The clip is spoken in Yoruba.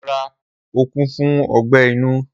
Rara, o ku fun ọgbẹ inu.